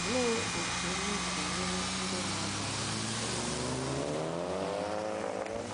Olee otú unu si nyere ndị mmadụ aka ịma na agwọ nọ n’akịrịka?